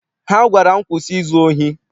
Ha gwara m, kwụsị izu ohi!